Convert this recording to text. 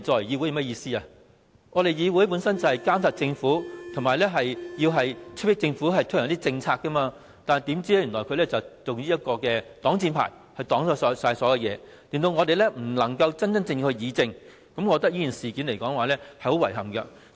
議會本來就是要監察政府及催迫政府推行政策，但政府卻以這個擋箭牌阻擋所有事，令我們不能真真正正議政，我認為這種做法令人很遺憾。